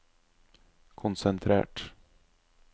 konsentrert